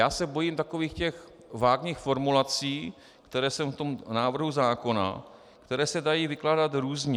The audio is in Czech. Já se bojím takových těch vágních formulací, které jsou v tom návrhu zákona, které se dají vykládat různě.